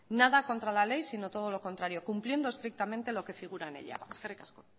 nada contra la ley sino todo lo contrario cumpliendo estrictamente lo que figura en ella eskerrik asko